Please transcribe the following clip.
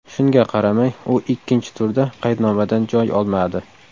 Shunga qaramay, u ikkinchi turda qaydnomadan joy olmadi.